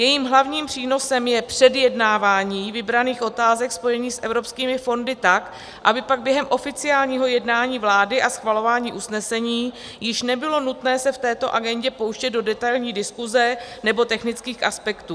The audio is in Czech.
Jejím hlavním přínosem je předjednávání vybraných otázek spojených s evropskými fondy, tak aby pak během oficiálního jednání vlády a schvalování usnesení již nebylo nutné se v této agendě pouštět do detailní diskuse nebo technických aspektů.